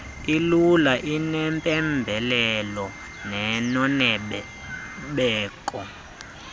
elula enempembelelo nenobeko